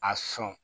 A sɔn